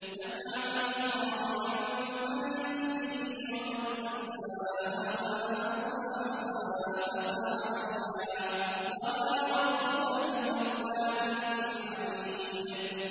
مَّنْ عَمِلَ صَالِحًا فَلِنَفْسِهِ ۖ وَمَنْ أَسَاءَ فَعَلَيْهَا ۗ وَمَا رَبُّكَ بِظَلَّامٍ لِّلْعَبِيدِ